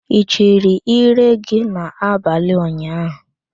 Ị chiri íré gị n'abalị unyahụ?